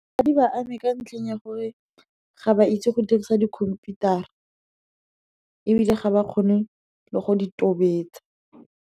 Ga di ba ame ka ntlheng ya gore ga ba itse go dirisa dikhomputara, ga ba kgone le go di tobetsa.